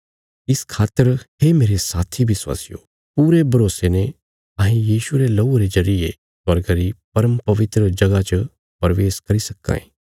इस खातर हे मेरे साथी विश्वासियों पूरे भरोसे ने अहें यीशुये रे लहूये रे जरिये स्वर्गा री परमपवित्र जगह च प्रवेश करी सक्कां ये